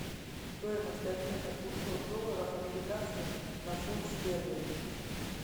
стоимость обмена двухсот долларов американских на фунт стерлинг